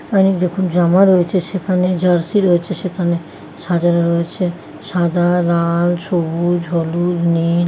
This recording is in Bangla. অনেকরকম জামা রয়েছে সেখানে জার্সি রয়েছে সেখানে সাজানো রয়েছে সাদা লাল সবুজ হলুদ নীল ।